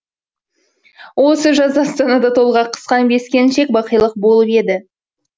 осы жазда астанада толғақ қысқан бес келіншек бақилық болып еді